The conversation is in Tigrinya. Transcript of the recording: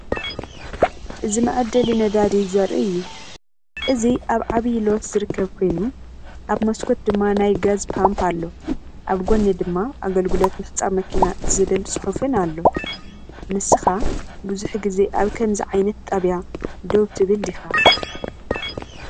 እዚ መዐደሊ ነዳዲ ዘርኢ እዩ። እዚ ኣብ ዓቢይ ሎት ዝርከብ ኮይኑ፡ ኣብ መስኮት ድማ ናይ ጋዝ ፓምፕ ኣሎ። ኣብ ጐድኒ ድማ “ኣገልግሎት ምሕጻብ መኪና” ዝብል ጽሑፍን ኣሎ። ንስኻ ብዙሕ ግዜ ኣብ ከምዚ ዓይነት ጣብያ ደው ትብል ዲኻ ?